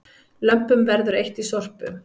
Lömpum verður eytt í Sorpu